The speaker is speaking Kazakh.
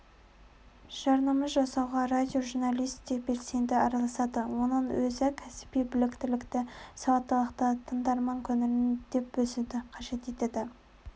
жарнама жасауға радиожурналист те белсенді араласады оның өзі кәсіби біліктілікті сауаттылықты тыңдарман көңілін дөп басуды қажет етеді